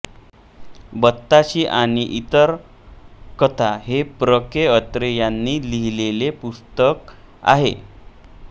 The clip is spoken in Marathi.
बत्ताशी आणि इतर कथा हे प्र के अत्रे यांनी लिहिलेले पुस्तक आहे